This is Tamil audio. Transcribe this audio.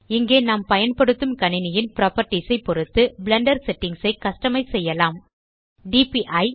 இங்கே நாம் பயன்படுத்தும் கணினியின் புராப்பர்ட்டீஸ் ஐ பொருத்து பிளெண்டர் செட்டிங்ஸ் ஐ கஸ்டமைஸ் செய்யலாம் டிபிஇ